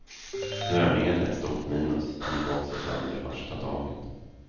Snörningen ett stort minus, gick också sönder första dagen.